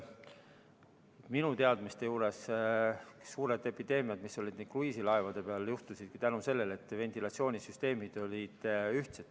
Minu teadmiste kohaselt juhtusid suured epideemiad, mis kruiisilaevade peal olid, just seetõttu, et ventilatsioonisüsteemid olid ühtsed.